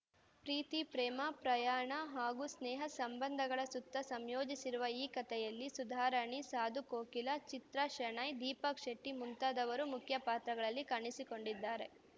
ಪ್ರೀತಿ ಪ್ರೇಮ ಪ್ರಯಾಣ ಹಾಗೂ ಸ್ನೇಹ ಸಂಬಂಧಗಳ ಸುತ್ತ ಸಂಯೋಜಿಸಿರುವ ಈ ಕಥೆಯಲ್ಲಿ ಸುಧಾರಾಣಿ ಸಾಧು ಕೋಕಿಲ ಚಿತ್ರ ಶೆಣೈ ದೀಪಕ್‌ ಶೆಟ್ಟಿ ಮುಂತಾದವರ ಮುಖ್ಯ ಪಾತ್ರಗಳಲ್ಲಿ ಕಾಣಿಸಿಕೊಂಡಿದ್ದಾರೆ